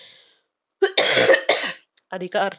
अधिकार